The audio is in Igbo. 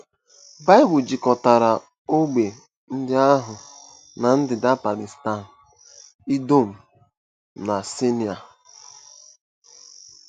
Baịbụl jikọtara ógbè ndị ahụ na ndịda Palestine, Idọm, na Saịnaị.